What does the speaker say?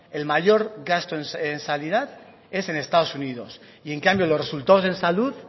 el mayor gasto en sanidad es en estado unidos y en cambio los resultados en salud